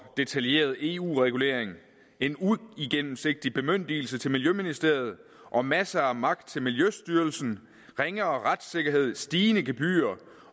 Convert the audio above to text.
detaljeret eu regulering en uigennemsigtig bemyndigelse til miljøministeriet og masser af magt til miljøstyrelsen ringere retssikkerhed stigende gebyrer